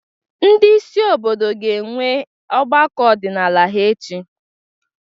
Ndị isi obodo ga-enwe ọgbakọ ọdịnala ha echi.